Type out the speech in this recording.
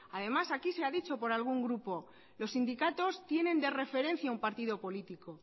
además aquí se ha dicho por algún grupo que los sindicatos tienen de referencia un partido político